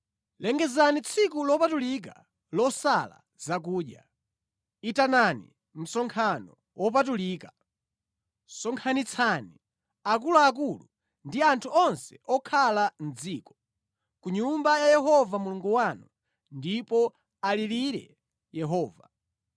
Lengezani tsiku lopatulika losala zakudya, itanani msonkhano wopatulika. Sonkhanitsani akuluakulu ndi anthu onse okhala mʼdziko ku nyumba ya Yehova Mulungu wanu ndipo alirire Yehova.